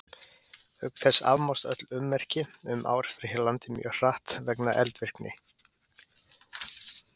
Auk þess afmást öll ummerki um árekstra hér á landi mjög hratt vegna eldvirkni.